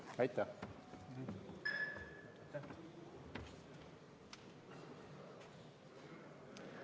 Aitäh!